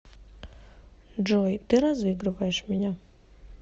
джой ты разыгрываешь меня